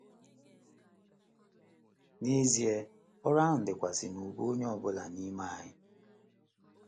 N’ezie, ọrụ ahụ dịkwasị n’ubu onye ọ bụla n’ime anyị.